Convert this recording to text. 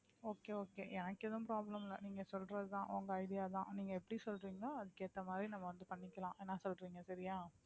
okay okay எனக்கு எதுவும் problem இல்லை நீங்க சொல்றதுதான் உங்க idea தான் நீங்க எப்படி சொல்றீங்களோ அதுக்கு ஏத்த மாதிரி நம்ம வந்து பண்ணிக்கலாம் என்ன சொல்றீங்க சரியா